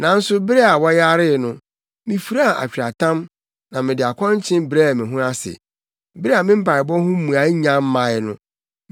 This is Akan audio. Nanso bere a wɔyaree no, mifuraa atweaatam na mede akɔnkyen brɛɛ me ho ase. Bere a me mpaebɔ ho mmuae nnya mmae no,